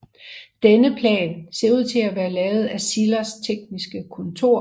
Denne plan ser ud til at være lavet af Zillers tekniske kontor